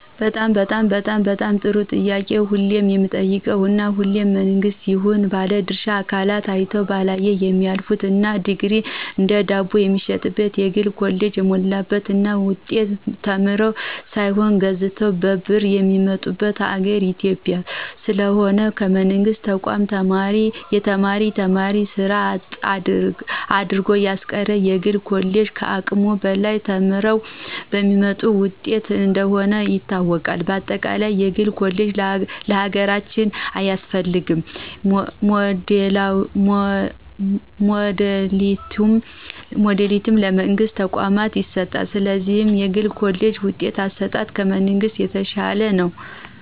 በጣም በጣም በጣም ጥሩ ጥያቄ ሁሌም የሚጠየቅ እና ሁሌም መንግስትም ይሁን ባለድርሻ አካላት አይተው ባላየ የሚያልፍት እና ዲግሪ እንደ ዳቦየሚሸጥባቸው የግል ኮሌጆች የሞሉባት እና ውጤት ተምረው ሳይሆን ተገዝተው በብር የሚመጡበት ሀገር ኢትዮጵያ። ስለሆነም ከመንግስት ተቋም የተማረ ተማሪ ስራ አጥ አድርጎያስቀረው የግል ኮሌጆች ከአቅሙ በላይ ለተማሪው በሚሰጡት ውጤት እንደሆነ ይታወቅ። በአጠቃለይ የግል ኮሌጅ ለሀገራችን አያስፈልግም ሞዳሊቲው ለመንግስት ተቋማት ይሰጥልን። ስለዚህ የግል ኮሌጅ ውጤት አሰጣጥ ከመንግሥት የተሻለ ነው።